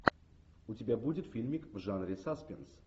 у тебя будет фильмик в жанре саспенс